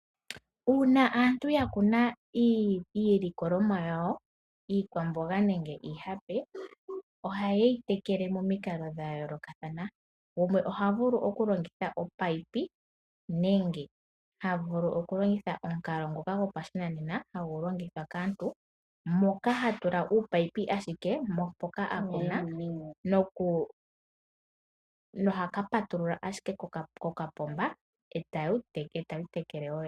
Uuna aantu ya kuna iilikolomwa yawo iikwamboga nenge iihape ohaye yitekele momikalo dha yoolokathana. Gumwe ohavulu okulongitha omunino nenge ha vulu okulongitha omukalo ngoka gopashinanena hagu longithwa kaantu moka hatula ominino ashike mpoka a kuna noha kapatulula ashike kokapomba etadhi tekele dho dhene.